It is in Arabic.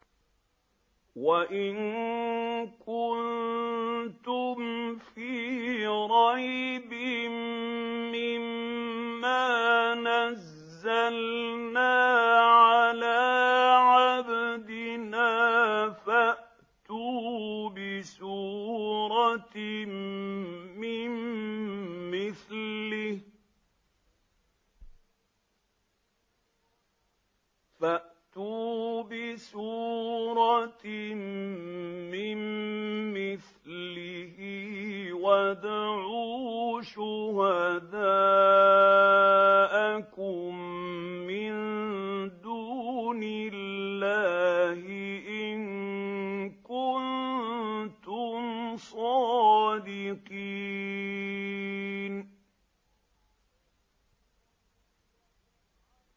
وَإِن كُنتُمْ فِي رَيْبٍ مِّمَّا نَزَّلْنَا عَلَىٰ عَبْدِنَا فَأْتُوا بِسُورَةٍ مِّن مِّثْلِهِ وَادْعُوا شُهَدَاءَكُم مِّن دُونِ اللَّهِ إِن كُنتُمْ صَادِقِينَ